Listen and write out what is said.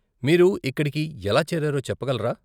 మీరు ఇక్కడికి ఎలా చేరారో చెప్పగలరా?